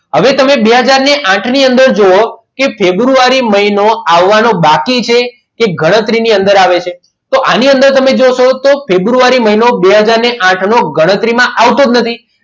હવે તમે બે હાજર આઠ ની અંદર જોવો કે ફેબ્રુઆરી મહિનો આવવાનો બાકી છે તે ગણતરીની અંદર આવે છે આની અંદર તમે જોશો તો ફેબ્રુઆરી મહિનો બે હાજર આઠ ની ગણતરીમાં આવતો જ નથી.